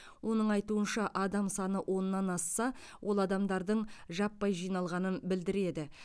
оның айтуынша адам саны оннан асса ол адамдардың жаппай жиналғанын білдіреді